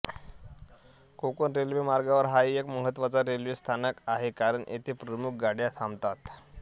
Konkan railway मार्गावर हा एक महत्त्वाचा रेल्वे स्थानक आहे कारण येथे प्रमुख गाड्या थांबतात